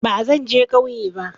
Bazan je kauye ba